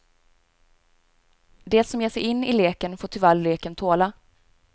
Det som ger sig in i leken, får tyvärr leken tåla.